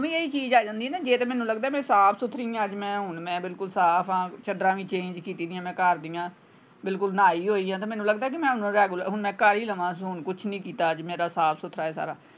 ਮੈਨੂੰ ਵੀ ਇਹੀ ਚੀਜ ਆ ਜਾਂਦੀ ਨਾ ਜੇ ਤੇ ਮੈਨੂੰ ਲਗਦਾ ਸਾਫ ਸੁਥਰੀ ਆਂ ਅੱਜ ਮੈਂ ਹੁਣ ਬਿਲਕੁਲ ਸਾਫ ਆਂ ਚੱਦਰਾਂ ਵੀ change ਕੀਤੀ ਦੀਆਂ ਮੈਂ ਘਰਦੀਆਂ ਬਿਲਕੁਲ ਨਹੀ ਹੋਈ ਆਂ ਤੇ ਮੈਨੂੰ ਲਗਦਾ ਮੈਂ regular ਹੁਣ ਮੈਂ ਕਰ ਹੀ ਲਵਾਂ ਹੁਣ ਕੁਛ ਨਹੀਂ ਕੀਤਾ ਅੱਜ ਮੇਰਾ ਸਾਫ ਸੁਥਰਾ ਆ ਸਾਰਾ।